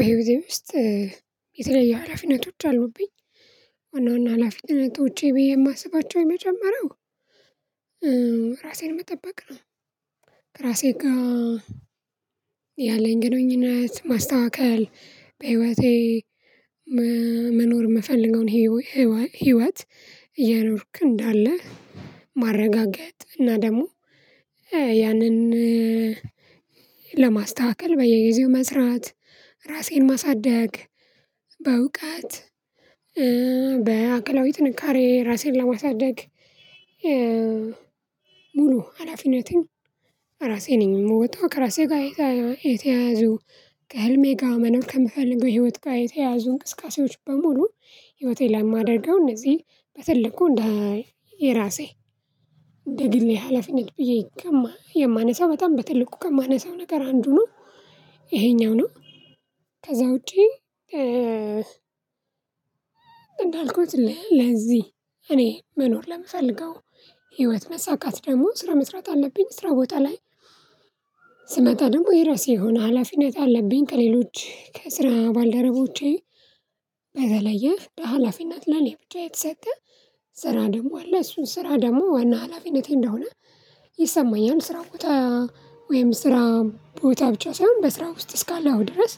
በህይወቴ ውስጥ የተለያዩ ሀላፊነቶች አሉብኝ። አንዳንድ ሀላፊነቶቼ ብዬ የማስባቸው የመጀመሪያው ራሴን መጠበቅ ነው። ከራሴ ጋር ያለኝ ግንኙነት ማስተካከል በህይወቴ መኖር የምፈልገውን ህይወት እየኖርኩ እንዳለ ማረጋገጥ እና ደግሞ ያንን ለማስተካከል በየጊዜው መስራት ራሴን ማሳደግ በእውቀት በአካላዊ ጥንካሬ ራሴን ለማሳደግ። ሙሉ ሀላፊነቴን ራሴ ነኝ የምወጣው ከራሴ ጋር የተያያዙ ከህልሜ ጋር መኖር ከምፈልገው ህይወት ጋር የተያያዙ እንቅስቃሴዎች በሙሉ ህይወቴን ለማደርገው እነዚህ በትልቁ እንደ የራሴ እንደ ግሌ ሀላፊነት ብዬ የማነሳው በጣም በትልቁ ከማነሳው ነገር አንዱ ነው። ይሄኛው ነው ከዛ ውጪ። እንዳልኩት ለዚህ እኔ መኖር ለምፈልገው ህይወት መሳካት ደግሞ ስራ መስራት አለብኝ። ስራ ቦታ ላይ ስመጣ ደግሞ የራሴ የሆነ ሀላፊነት አለብኝ ከሌሎች ከስራ ባልደረቦቼ በተለየ በሃላፊነት ለእኔ ብቻ የተሰጠ ስራ ደግሞ አለ እሱን ስራ ደግሞ ዋና ሀላፊነቴ እንደሆነ ይሰማኛል። ስራ ቦታ ወይም ስራ ቦታ ብቻ ሳይሆን በስራ ውስጥ እስካለሁ ድረስ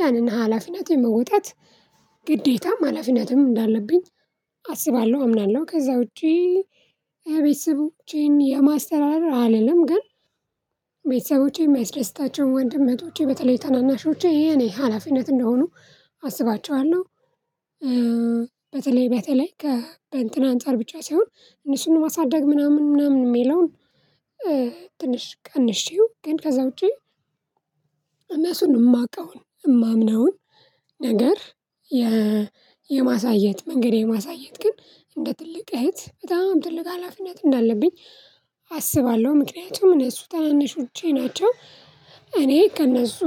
ያንን ሀላፊነት የመወጣት ግዴታም ሀላፊነትም እንዳለብኝ አስባለሁ አምናለሁ። ከዛ ውጪ ቤተሰቦቼን የማስተዳደር አልልም ግን ቤተሰቦቼ የሚያስደስታቸው ወንድም እህቶቼ በተለይ ታናናሾቼ የኔ ሀላፊነት እንደሆኑ አስባቸዋለሁ። በተለይ በተለይ ከእንትን አንፃር ብቻ ሳይሆን እነሱን ማሳደግ ምናምን ምናምን የሚለውን ትንሽ ቀንሼ ግን ከዛ ውጪ እነሱን የማውቀውን የማምነውን ነገር የ የማሳየት መንገድ የማሳየት ግን እንደ ትልቅ እህት በጣም ትልቅ ሀላፊነት እንዳለብኝ አስባለሁ ምክንያቱም እነሱ ታናናሾቼ ናቸው። እኔ ከእነሱ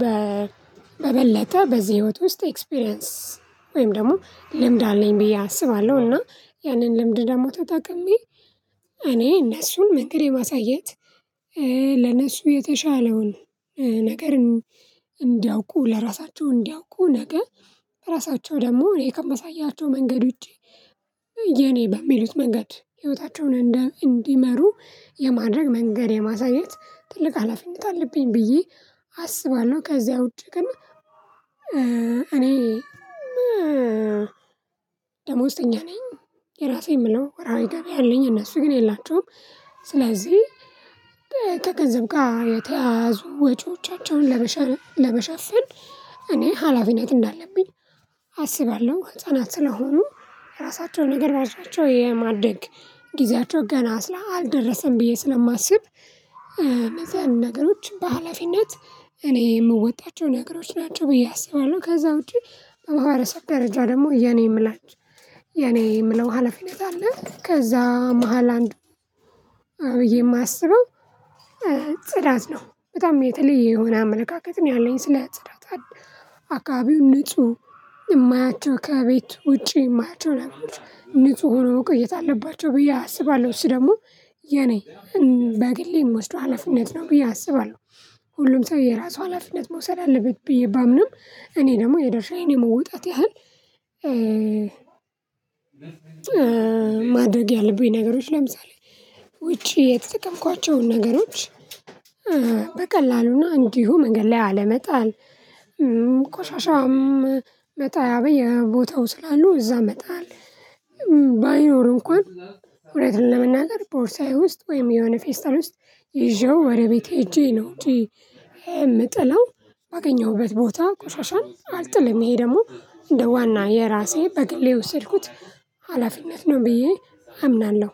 በበለጠ በዚህ ህይወት ውስጥ ኤክስፔሪያንስ ወይም ደግሞ ልምድ አለኝ ብዬ አስባለሁ እና ያንን ልምድ ደግሞ ተጠቅሜ እኔ እነሱን መንገድ የማሳየት ለነሱ የተሻለውን ነገር እንዲያውቁ ለራሳቸው እንዲያውቁ ነገር ራሳቸው ደግሞ እኔ ከማሳያቸው መንገድ ውጪ የኔ በሚሉት መንገድ ህይወታቸውን እንዲመሩ የማድረግ መንገድ የማሳየት ትልቅ ሀላፊነት አለብኝ ብዬ አስባለሁ። ከዚያ ውጪ ግን እኔ ደሞዝተኛ ነኝ። የራሴ የምለው ወርሃዊ ገቢ አለኝ የእነሱ ግን የላቸውም። ስለዚህ ከገንዘብ ጋር የተያያዙ ወጪዎቻቸውን ለመሸር ለመሸፈን እኔ ሀላፊነት እንዳለብኝ አስባለሁ። ህፃናት ስለሆኑ ራሳቸው ነገር አንሷቸው የማድረግ ጊዜያቸው ገና ስላ አልደረሰም ብዬ ስለማስብ ነገሮች በሃላፊነት እኔ የምወጣቸው ነገሮች ናቸው ብዬ አስባለሁ። ከዛ ውጪ በማህረሰብ ደረጃ ደግሞ የኔ የምላች የኔ የምለው ሀላፊነት አለ። ከዛ መሃል አንዱ ብዬ የማስበው ጽዳት ነው በጣም የተለየ የሆነ አመለካከት ነው ያለኝ ስለጽዳት አካባቢው ንጹህ የማያቸው ከቤት ውጪ የማያቸው ነገሮች ንጹህ ሆነው መቆየት አለባቸው ብዬ አስባለሁ እሱ ደግሞ የኔ በግሌ የምወስደው ሀላፊነት ነው ብዬ አስባለሁ። ሁሉም ሰው የራሱ ሀላፊነት መውሰድ አለበት ብዬ ባምንም እኔ ደግሞ የድርሻዬን የመወጣት ያህል ማድረግ ያለብኝ ነገሮች ለምሳሌ ውጪ የተጠቀምኳቸውን ነገሮች በቀላሉና እንዲሁ መንገድ ላይ አለመጣል። ቆሻሻም መጣያ በየቦታው ስላሉ እዛ መጣል። እንኳን እውነቱን ለመናገር ቦርሳዬ ውስጥ ወይም የሆነ ፌስታል ውስጥ ይዤው ወደ ቤቴ ሄጄ ነው እንጅ የምጥለው አገኘሁበት ቦታ ቆሻሻን አልጥልም። ይሄ ደግሞ እንደ ዋና የራሴ በግሌ የወስድኩት ሀላፊነት ነው ብዬ አምናለሁ